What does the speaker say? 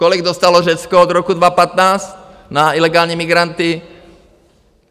Kolik dostalo Řecko od roku 2015 na ilegální migranty?